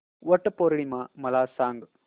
वट पौर्णिमा मला सांग